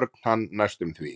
Örn hann næstum því.